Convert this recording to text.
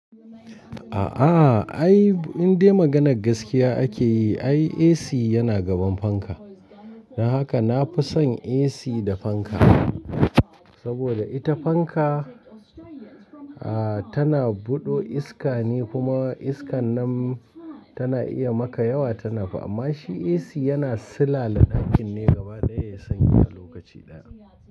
A'a ai, in dai maganar gaskiya ake yi ai AC yana gaban fanka. Don haka na fi son AC da fanka. Saboda ita fanka tana buɗe iska ne kuma iskan nan tana iya maka yawa tana fa. Amma shi AC yana silale ɗakin ne gaba ɗaya sanyi a lokaci ɗaya.